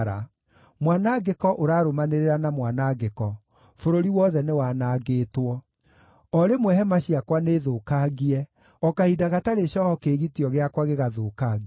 Mwanangĩko ũrarũmanĩrĩra na mwanangĩko; bũrũri wothe nĩwanangĩtwo. O rĩmwe hema ciakwa nĩthũkangie, o kahinda gatarĩ cooho kĩĩgitio gĩakwa gĩgathũkangio.